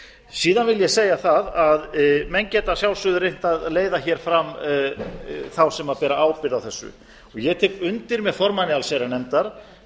síðan vil ég segja það að menn geta að sjálfsögðu reynt að leiða hér fram þá sem bera ábyrgð á þessu ég tek undir með formanni allsherjarnefndar